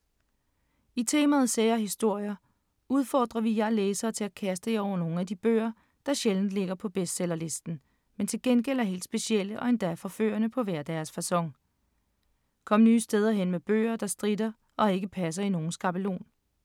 I temaet Sære historier, udfordrer vi jer læsere til at kaste jer over nogle af de bøger, der sjældent ligger på bestsellerlisten, men til gengæld er helt specielle og endda forførende på hver deres facon. Kom nye steder hen med bøger, der stritter og ikke passer i nogen skabelon.